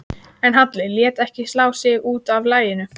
En Halli lét ekki slá sig út af laginu.